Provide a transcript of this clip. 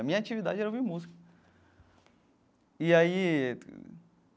A minha atividade era ouvir música e aí.